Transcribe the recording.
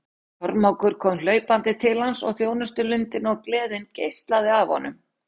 Kormákur kom hlaupandi til hans og þjónustulundin og gleðin geislaði af honum.